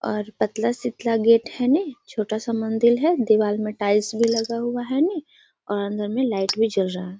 और पतला शीतला गेट है ने छोटा सा मंदिर है दीवाल में टाइल्स भी लगा हुआ है ने और अंदर मे लाइट भी जल रहा है।